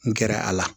N gɛrɛ a la